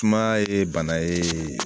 Sumaya ye bana ye